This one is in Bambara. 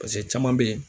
pase caman be yen